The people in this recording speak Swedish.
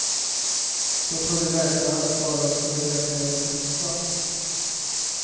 Då trodde läkarna att skadan skulle läka relativt snabbt.